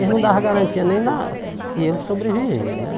Eles não davam garantia nem na que ele sobrevivia, né?